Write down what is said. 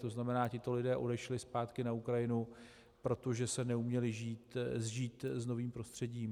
To znamená, tito lidé odešli zpátky na Ukrajinu, protože se neuměli sžít s novým prostředím.